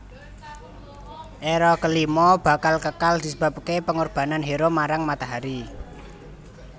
Era kelima bakal kekal disebabke pengorbanan hero marang matahari